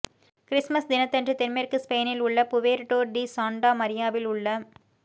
Christmas தினத்தன்று தென்மேற்கு ஸ்பெயினில் உள்ள புவேர்ட்டோ டி சாண்டா மரியாவில் உள்ள